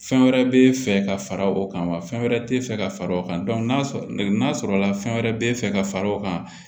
Fɛn wɛrɛ be fɛ ka fara o kan wa fɛn wɛrɛ te fɛ ka fara o kan ne y'a sɔrɔla la fɛn wɛrɛ be fɛ ka fara o kan